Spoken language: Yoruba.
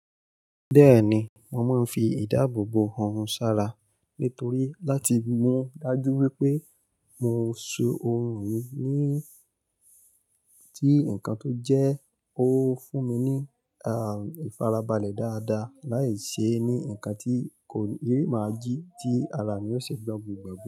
Bẹ́ẹ̀ni, mo máa ń fi ìdáàbòbò orun sára nítorí láti mú dájú wípé mo so ohun mi ní tí nǹkan tó jẹ́ ó fún mi ní, ah, ìfarabalẹ̀ dáadáa láìṣe ní ǹkan tí kò yé máa jí tí ara mi ó ṣe gbọ́n gbogbo gbà.